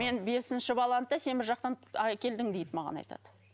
мен бесінші баланы да сен бір жақтан әкелдің дейді маған айтады